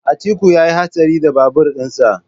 Atiku yayi hatsari da babur din sa.